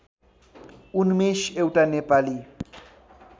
उन्मेष एउटा नेपाली